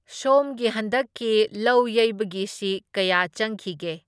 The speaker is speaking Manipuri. ꯁꯣꯝꯒꯤ ꯍꯟꯗꯛꯀꯤ ꯂꯧ ꯌꯩꯕꯒꯤꯁꯤ ꯀꯌꯥ ꯆꯪꯈꯤꯒꯦ?